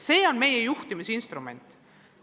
See on meie juhtimisinstrument.